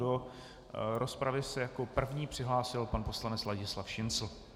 Do rozpravy se jako první přihlásil pan poslanec Ladislav Šincl.